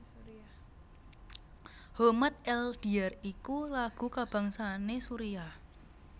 Homat el Diyar iku lagu kabangsané Suriah